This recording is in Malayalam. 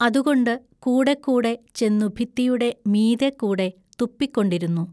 അതുകൊണ്ട് കൂടെക്കൂടെ ചെന്നു ഭിത്തിയുടെ മീതെ കൂടെ തുപ്പിക്കൊണ്ടിരുന്നു.